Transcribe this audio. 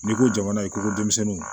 N'i ko jamana i ko ko denmisɛnninw